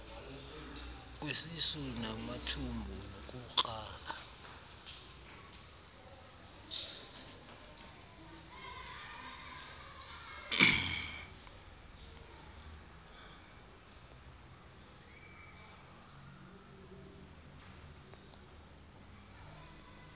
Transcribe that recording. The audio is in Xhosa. kwesisu namathumbu nokukrala